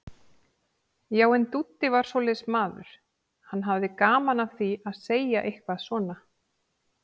Já, en Dúddi var svoleiðis maður, hann hafði gaman af því að segja eitthvað svona.